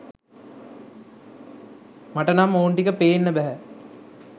මට නම් ඔවුන් ටික පේන්න බැහැ